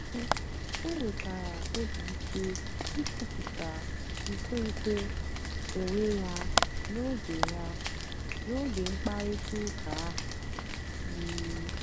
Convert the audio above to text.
um o nwètàra óbì ìké ìkwùpụ̀tà nkwénkwè onwé ya n'ógè ya n'ógè mkpáịrịtà ụ́ka ahụ́. um